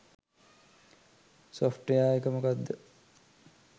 Software එක මොකක්ද?